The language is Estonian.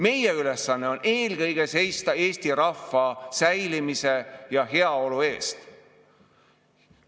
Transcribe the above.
Meie ülesanne on eelkõige seista Eesti rahva säilimise ja heaolu eest.